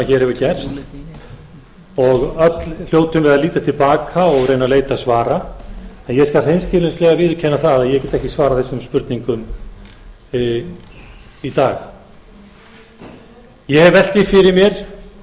hér hefur gerst og öll hljótum við að líta til baka og reyna að leita svara en ég skal hreinskilnislega viðurkenna það að ég get ekki svarað þessum spurningum í dag ég hef velt því fyrir mér